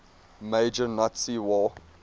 major nazi war